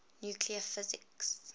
nuclear physics